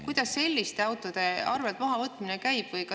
Kuidas selliste autode arvelt mahavõtmine käib?